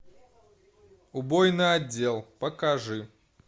убойный отдел покажи